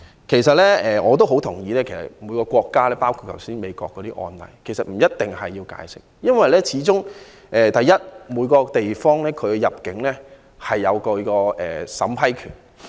其實，我非常同意就各個案例，每個地方，包括美國，不一定需要提供解釋，因為始終每個地方都享有入境審批權。